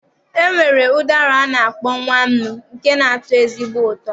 E nwere ụdara a na-akpọ nwa nnu nke na-atọ ezigbo ụtọ.